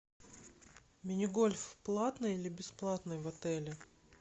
мини гольф платный или бесплатный в отеле